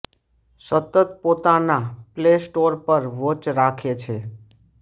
સતત પોતાના Play Store પર વોચ રાખે છે